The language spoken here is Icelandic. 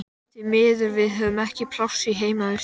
Því miður, við höfum ekki pláss í heimavist.